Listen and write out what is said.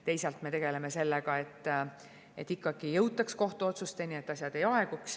Teisalt me tegeleme sellega, et ikkagi jõutaks kohtuotsusteni, et asjad ei aeguks.